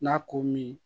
N'a ko min